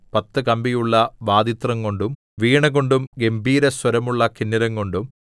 പത്തു കമ്പിയുള്ള വാദിത്രം കൊണ്ടും വീണ കൊണ്ടും ഗംഭീരസ്വരമുള്ള കിന്നരം കൊണ്ടും